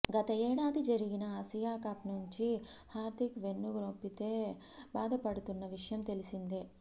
గత ఏడాది జరిగిన ఆసియా కప్ నుంచి హార్దిక్ వెన్నునొప్పితో బాధపడుతున్న విషయం తెలిసిందే